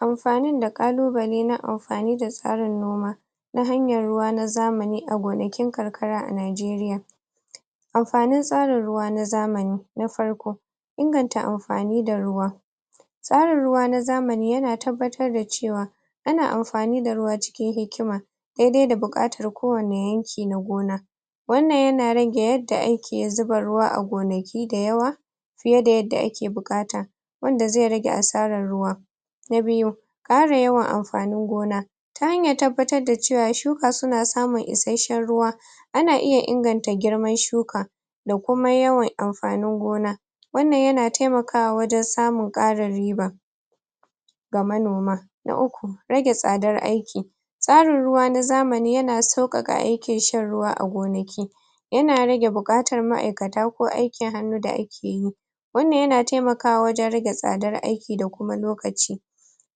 Amfanin da ƙalubale na amfani da tsarin noma na hanyar ruwa na zamani a gonakin karkara a najeriya amfanin tsarin ruwa na zamani na farko; inganta amfani da ruwa tsarin ruwa na zamani yana tabbatar da cewa ana amfani da ruwa cikin hikima daidai da buƙatar ko wane yanki na gona wannan yana rage yanda ake zuba ruwa a gonaki da yawa fiye da yadda ake buƙata wanda zai rage asarar ruwa na biyu; ƙara yawan amfanin gona ta hanyar tabbatar da cewa shuka suna samun isashshen ruwa ana iya inganta girman shuka da kuma yawan amfanin gona wannan yana taimaka wajen samun ƙarin riiba ga manoma na uku; rage tsadar aiki tsarin ruwa na zamani yana sauƙaƙa aikin shan ruwa a gonaki yana rage buƙatar ma'aikata ko aikin hannu da akeyi wannan yana taimakawa wajen rage tsadar aiki da kuma lokaci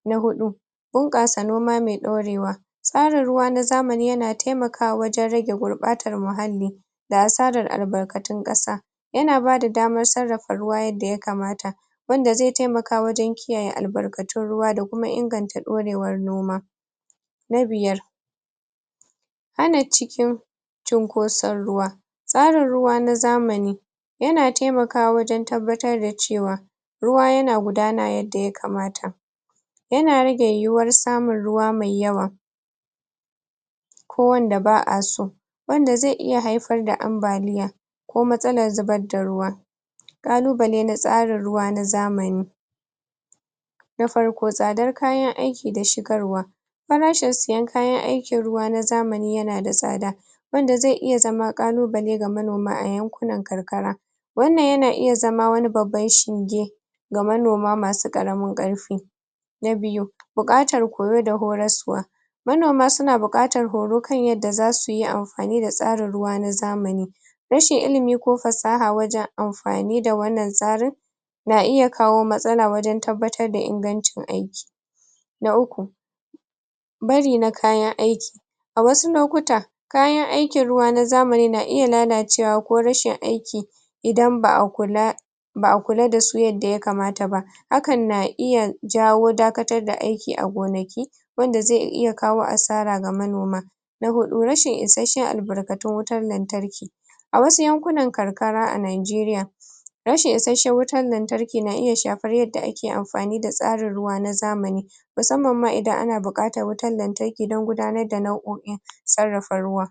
na huɗu; bunƙasa noma mai ɗorewa tsarin ruwa na zamani yana taimakawa wajen rage gurɓatar muhalli da asarar albarkatun ƙasa yana bada daman sarrafa ruwa yanda ya kamata wanda zai taimaka wajen kiyaye albarkatun ruwa da kuma inganta ɗorewar noma na biyar; hana cikin cinkoson ruwa tsarin ruwa na zamani yana taimakawa wajen tabbatar da cewa ruwa yana gudana yanda ya kamata yana rage yiyiwar samun ruwa mai yawa ko wanda ba'a so wanda zai iya haifar da ambaliya ko matsalar zubar da ruwa ƙalubale na tsarin ruwa na zamani na farko, tsadar kayan aiki da shigarwa farashin siyan kayan aikin ruwa na zamani yana da tsada wanda zai iya zama ƙalubale ga manoma a yankunan karkara wannan yana iya zama wani babban shinge ga manoma masu ƙaramin ƙarfi na biyu; buƙatar koyo da horaswa manoma suna buƙatar horo kan yanda zasu yi am fani da tsarin ruwa na zamani rashin ilimi ko fasaha wajen amfani da wannan tsarin na iya kawo matsala wajen tabbatar da ingancin aiki na uku; bari na kayan aiki wasu lokuta kayan aikin ruwa na zamani na iya lalacewa ko rashin aiki idan ba'a kula ba'a kula dasu yanda ya kamata ba hakan na iya jawo dakatar da aiki a gonaki wanda zai kawo asara ga manoma na huɗu; rashin isashshen albarkatun wutan lantarki a wasu yankunan karkara a najeriya rashin isashshen wutan lantarki ki, na iya shafar yanda ake amfani da tsarin ruwa na zamani musamman ma idan ana buƙatar wutar lantarki gurin gudanar da sarrafa ruwa